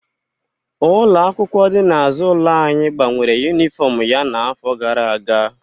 Ụlọ akwụkwọ dị n'azụ ụlọ anyị gbanwere yunifọmụ ya n'afọ gara aga.